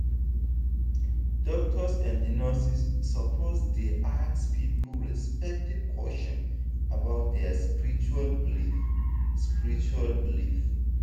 doctors and nurses suppose dey ask people respectful question about their spiritual belief. spiritual belief.